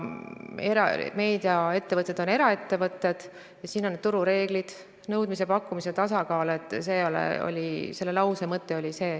Meediaettevõtted on eraettevõtted ja kehtivad turureeglid, nõudmise-pakkumise tasakaal – see oli selle lause mõte.